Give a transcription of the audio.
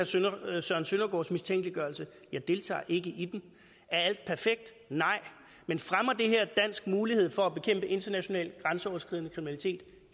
til herre søren søndergaards mistænkeliggørelse jeg deltager ikke i den er alt perfekt nej men fremmer det her dansk mulighed for at bekæmpe international grænseoverskridende kriminalitet